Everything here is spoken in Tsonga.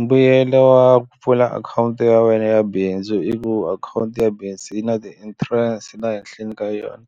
Mbuyelo wa ku pfula akhawunti ya wena ya bindzu i ku akhawunti ya bindzu yi na ti-interest ta ehenhleni ka yona